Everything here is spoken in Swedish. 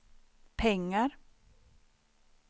pengar